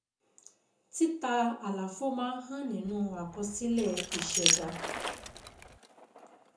Títa àlàfo máa ń hàn nínú àkọsílẹ̀ ìṣẹ̀dá.